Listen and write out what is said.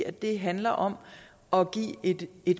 at det handler om om at give et